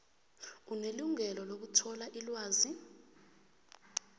unelungelo lokuthola ilwazi